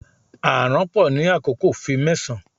A aranpo ni akoko fi mẹsan